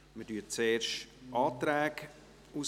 Wir mehren zuerst die Anträge aus.